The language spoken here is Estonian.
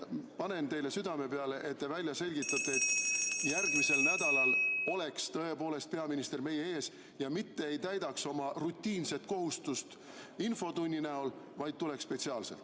Panen teile südamele, et te välja selgitate , et järgmisel nädalal oleks tõepoolest peaminister meie ees ja mitte ei täidaks oma rutiinset kohustust infotunni näol, vaid tuleks spetsiaalselt.